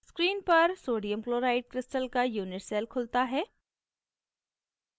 screen पर sodium chloride crystal का unit cell खुलता है